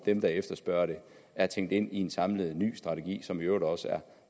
dem der efterspørger det er tænkt ind i en samlet ny strategi som i øvrigt også er